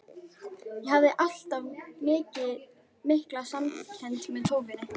Ég hafði alltaf mikla samkennd með tófunni.